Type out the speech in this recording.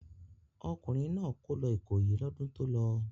Ọkùnrin náà kó lọ Ìkòyí lọ́dún tó lọ.